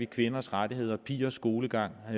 kvinders rettigheder pigers skolegang og